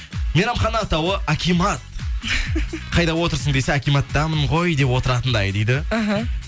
мейрамхана атауы акимат қайда отырсың десе акиматтамын ғой деп отыратындай дейді мхм